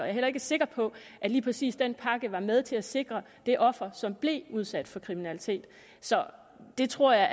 er heller ikke sikker på at lige præcis den pakke var med til at sikre det offer som blev udsat for kriminalitet så det tror jeg